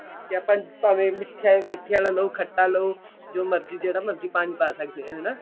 ਤੇ ਆਪਾਂ ਭਾਵੇਂ ਮਿੱਠੇ ਆਲਾ ਲਓ ਖੱਟਾ ਲਓ ਜੋ ਮਰਜੀ ਜਿਹੜਾ ਮਰਜੀ ਪਾਣੀ ਪਾ ਸਕਦੇ ਹਾਂ ਹਨਾ